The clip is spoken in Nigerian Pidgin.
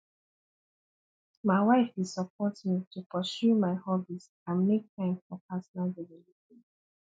my wife dey support me to pursue my hobbies and make time for personal development